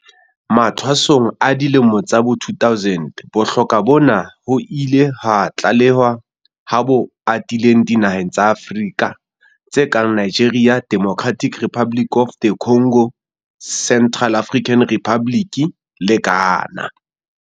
Mathwasong a dilemo tsa bo 2000, bohloko bona ho ile ha tlalehwa ha bo atile dinaheng tsa Afrika tse kang Nigeria, Democratic Republic of the Congo, Central African Republic le Ghana.